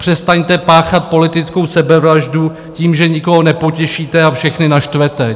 Přestaňte páchat politickou sebevraždu tím, že nikoho nepotěšíte a všechny naštvete.